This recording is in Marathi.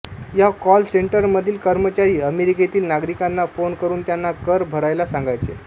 या कॉल सेंटरमधील कर्मचारी अमेरिकेतील नागरिकांना फोन करुन त्यांना कर भरायला सांगायचे